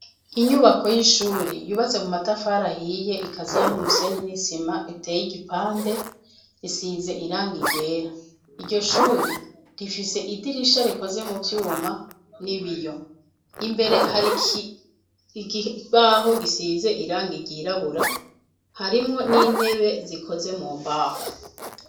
Inyubako y'ishuri yubatse mu matafari ahiye, ikaziye n'umusenyi n'isima, iteye igipande, isize irangi ryera, iryo shuri rifise idirisha rikoze mu vyuma n'ibiyo, imbere hari ikibaho gisize irangi ryirabura, harimwo n'intebe zikoze mu mbaho.